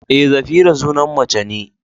Eh, Zafira sunan mace ne.